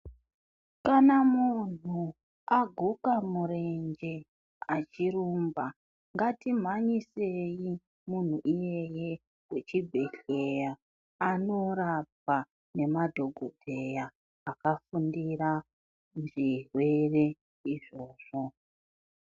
Kana munhu aguka murenje achirumba ngatimhanyisei munhu iyeye kuchibhedhleya anorapwa ngemadhokodheya akafundira zvirwere izvozvo.